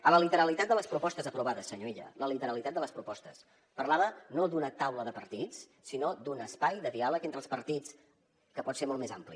a la literalitat de les propostes aprovades senyor illa a la literalitat de les propostes parlava no d’una taula de partits sinó d’un espai de diàleg entre els partits que pot ser molt més ampli